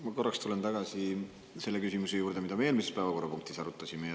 Ma korraks tulen tagasi selle küsimuse juurde, mida me eelmises päevakorrapunktis arutasime.